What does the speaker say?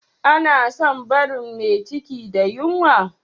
Ana son barin me ciki da yunwa